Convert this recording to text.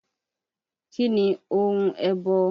Kí ni ohun ẹbọ?